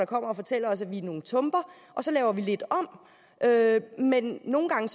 kommer og fortæller os at vi er nogle tumper og så laver vi lidt om men nogle gange